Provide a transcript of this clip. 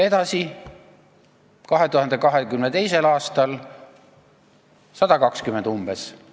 Edasi, 2022. aastal on umbes 120 miljonit.